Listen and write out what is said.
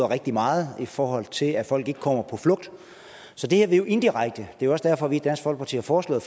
rigtig meget i forhold til at folk ikke kommer på flugt så det her er indirekte det er også derfor vi i dansk folkeparti har foreslået